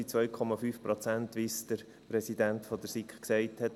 Wie es der Präsident der SiK gesagt hat: